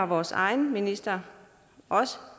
vores egen minister har også